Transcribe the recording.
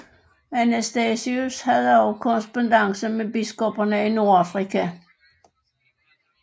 Anastasius havde også korrespondance med biskopperne i Nordafrika